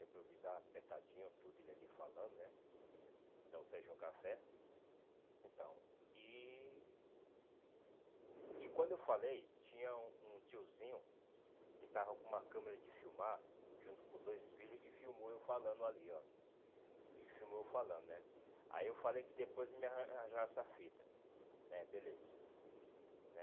improvisar apertadinho tudo ele ali falando né então serviu um café então e e quando eu falei tinha um um tiozinho que estava com uma câmera de filmar junto com os dois filhos e filmou eu falando ali ó e filmou eu falando né aí eu falei que depois me ar me arranjar essa fita né beleza né